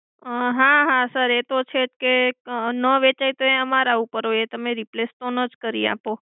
હા હા sir એ તો છે જ કે ન વેચાય તો એ અમારા ઉપર હોય એ તમે replace તો ન જ કરી આપો.